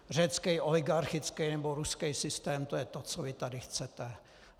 Řecký oligarchický nebo ruský systém, to je to, co vy tady chcete.